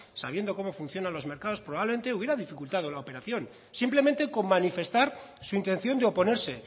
sabiendo cómo funcionan los mercados probablemente hubiera dificultado la operación simplemente con manifestar su intención de oponerse